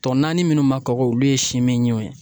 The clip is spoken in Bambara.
Tɔ naani minnu ma kɔgɔ olu ye simiɲinw ye